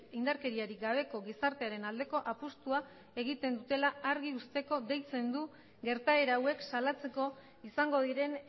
indarkeriarik gabeko gizartearen aldeko apustua egiten dutela argi uzteko deitzen du gertaera hauek salatzeko izango diren